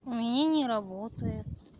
у меня не работает